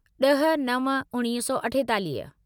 ड॒ह नव उणिवीह सौ अठेतालीह